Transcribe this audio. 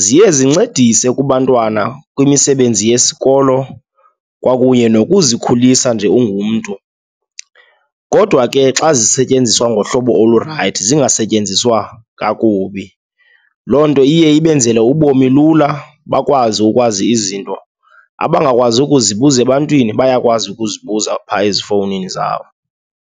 ziye zincedise kubantwana kwimisebenzi yesikolo kwakunye nokuzikhulisa nje ungumntu kodwa ke xa zisetyenziswa ngohlobo olurayithi, zingasetyenziswa kakubi. Loo nto iye ibenzele ubomi lula, bakwazi ukwazi izinto. Abangakwazi ukuzibuza ebantwini, bayakwazi ukuzibuza phaya ezifowunini zabo.